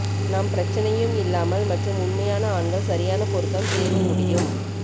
நாம் பிரச்சனையும் இல்லாமல் மற்றும் உண்மையான ஆண்கள் சரியான பொருத்தம் தேர்வு முடியும்